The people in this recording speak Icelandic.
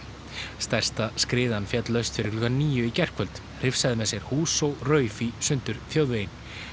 stærsta skriðan féll laust fyrir klukkan níu í gærkvöld hrifsaði með sér hús og rauf í sundur þjóðveginn